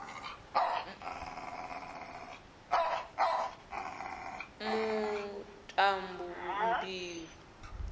muḽambilu